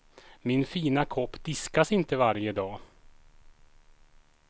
Min fina kopp diskas inte varje dag.